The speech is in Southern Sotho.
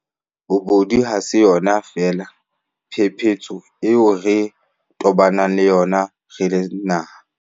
Bobodu ha se yona feela phephetso eo re tobaneng le yona re le naha.